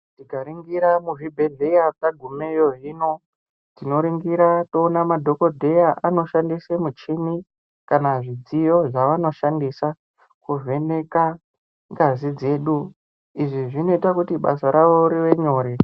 Tikaningira muzvibhedhlera tagumeyo hino, tinoringira toona madhokodheya anoshandisa michini kana zvidziyo zvavanoshandisa kuvheneka ngazi. Izvi zvinoita kuti basa ravo rive nyore.